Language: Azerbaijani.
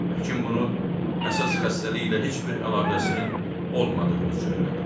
Həkim bunu əsas xəstəliklə heç bir əlaqəsinin olmadığını söylədi.